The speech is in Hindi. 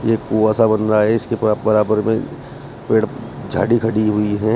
एक कुँआ सा बन रहा है इसके बराबर में पेड़ झाड़ी खड़ी हुई है।